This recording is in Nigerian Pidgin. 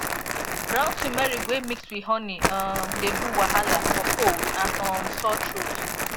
ground turmeric wey mix with honey um dey do wahala for cold and um sore throat